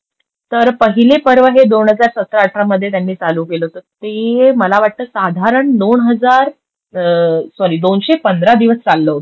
तर पहिले पर्व हे दोन हजार सतरा अठरा मध्ये त्यांनी चालू केलं होतं. ते मला वाटतं साधारण दोन हजार सॉरी दोनशे पंधरा दिवस चाललं होतं ते.